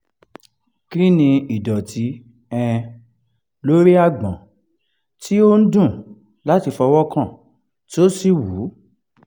kí ni ìdọ̀tí um lórí agbon tí ó ń dùn láti fọwọ́ kàn tí ó sì wú?